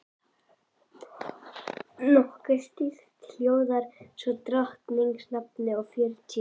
Nokkuð stytt hljóðar það svo í drottins nafni og fjörutíu